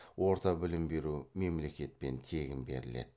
орта білім беру мемлекетпен тегін беріледі